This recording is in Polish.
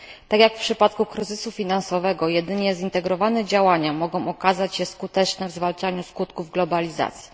Tak jak w przypadku kryzysu finansowego, jedynie zintegrowane działania mogą okazać się skuteczne w zwalczaniu skutków globalizacji.